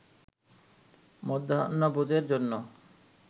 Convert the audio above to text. মধ্যাহ্নভোজের জন্য